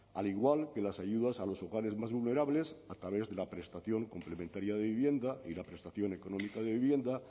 al igual que las ayudas a los hogares más vulnerables a través de la prestación complementaria de vivienda y la prestación económica de vivienda